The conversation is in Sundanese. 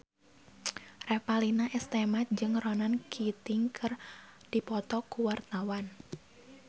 Revalina S. Temat jeung Ronan Keating keur dipoto ku wartawan